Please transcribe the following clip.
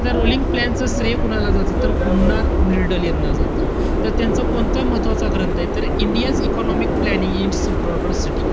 आता rolling plan च श्रेय कोणाला जातं? तर गुन्नार म्यर्डल यांना जातं. त त्यांचा कोणता महत्वाचा ग्रंथय? तर India's economic planning in its broader setting